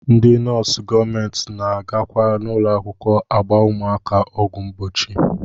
Ndị nọọsụ gọọmenti na-agakwa n'ụlọakwụkwọ agba ụmụaka ọgwụ mgbochi